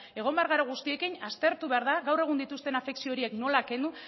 egon behar gara guztiekin aztertu behar da gaur egun dituzten afekzioak nola kendu